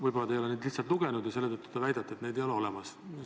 Võib-olla te ei ole neid lihtsalt lugenud ja selle tõttu väidate, et neid ei ole olemas.